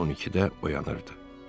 Saat 12-də oyanırdı.